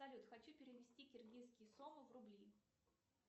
салют хочу перевести киргизские сомы в рубли